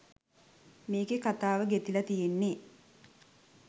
මේකෙ කතාව ගෙතිල තියෙන්නෙ